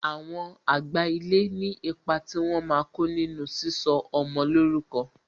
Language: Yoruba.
Àwọn àgbà ilé ní ipa tí wọn máa ko nínú sísọ ọmọ lórúkọ